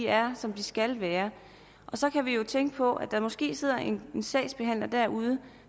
er som de skal være så kan vi jo tænke på at der måske sidder en sagsbehandler derude